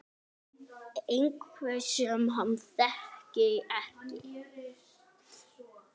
Einhver sem hann þekkir ekki.